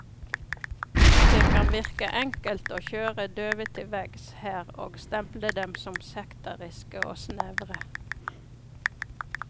Det kan virke enkelt å kjøre døve til veggs her og stemple dem som sekteriske og snevre.